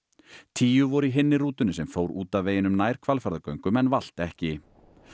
tíu voru í hinni rútunni sem fór út af veginum nær Hvalfjarðargöngum en valt ekki